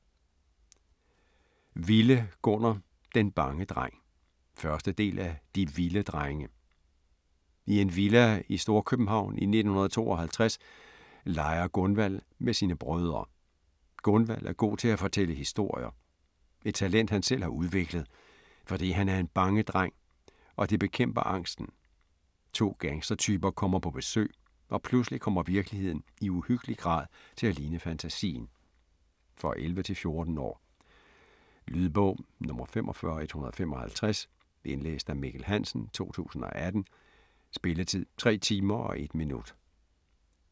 Wille, Gunnar: Den bange dreng 1. del af De Wille drenge. I en villa i Storkøbenhavn i 1952 leger Gunvald med sine brødre. Gunvald er god til at fortælle historier. Et talent han selv har udviklet, fordi han er en bange dreng, og det bekæmper angsten. To gangstertyper kommer på besøg, og pludselig kommer virkeligheden i uhyggelig grad til at ligne fantasien. For 11-14 år. Lydbog 45155 Indlæst af Mikkel Hansen, 2018. Spilletid: 3 timer, 1 minut.